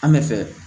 An bɛ fɛ